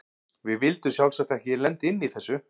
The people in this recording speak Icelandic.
Við vildum sjálfsagt ekki lenda inni í þessu!